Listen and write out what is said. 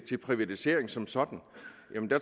til privatiseringer som sådan